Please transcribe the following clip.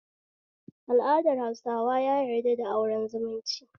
Al'adar hausawa ya yarda da auren zumunci